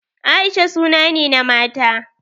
Aisha suna ne na mata.